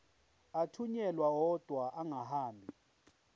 athunyelwa odwa angahambi